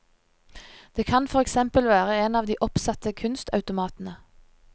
Det kan for eksempel være en av de oppsatte kunstautomatene.